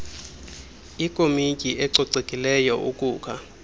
ikomityi ecocekileyo ukukha